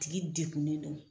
Tigi degunnen don